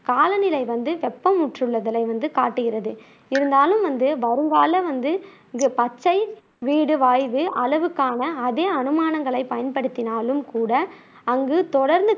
காலநிலை வந்து வெப்பமுற்றுள்ளதைக் காட்டுகிறது. இருந்தாலும் வந்து வருங்கால வந்து இங்கு பச்சை வீடு வாய்வு அளவுகளுக்கான அதே அனுமானங்களை பயன்படுத்தினாலும் கூட, அங்கு தொடர்ந்து